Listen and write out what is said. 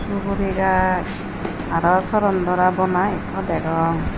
suguri gach aro sorondora bona ekko degong.